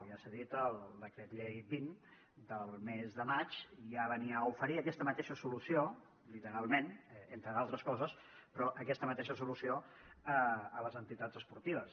ja s’ha dit el decret llei vint del mes de maig ja venia a oferir aquesta mateixa solució literalment entre d’altres coses però aquesta mateixa solució a les entitats esportives